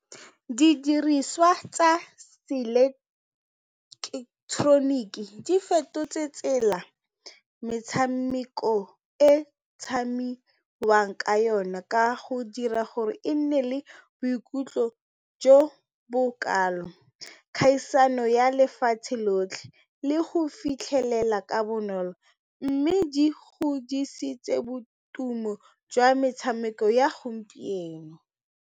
Didiriswa tsa se-electronic di fetotse tsela metshameko e tshamekiwang ka yone ka go dira gore e nne le boikutlo jo bo kalo kgaisano ya lefatshe lotlhe le go fitlhelela ka bonolo mme di godisitse boitumelo jwa metshameko ya gompieno.